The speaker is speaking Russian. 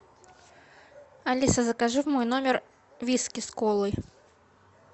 алиса закажи в мой номер виски с колой